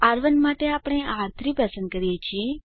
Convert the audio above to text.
R1 માટે આપણે આર3 પસંદ કરીએ છીએ